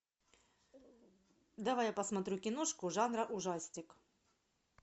давай я посмотрю киношку жанра ужастик